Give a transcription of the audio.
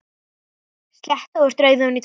Sletti óvart rauðu ofan á tærnar.